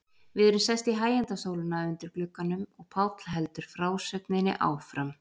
Við erum sest í hægindastólana undir glugganum og Páll heldur frásögninni áfram.